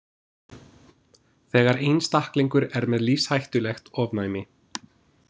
Þegar einstaklingur er með lífshættulegt ofnæmi.